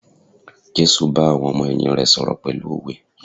Jésù bá àwọn ọmọ ẹ̀yìn rè sọ̀rọ̀ pẹ̀lú òwe.